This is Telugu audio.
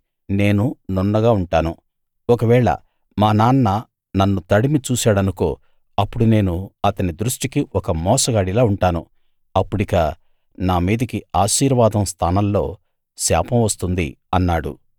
ఒకవేళ మా నాన్న నన్ను తడిమి చూశాడనుకో అప్పుడు నేను అతని దృష్టికి ఒక మోసగాడిలా ఉంటాను అప్పుడిక నా మీదికి ఆశీర్వాదం స్థానంలో శాపం వస్తుంది అన్నాడు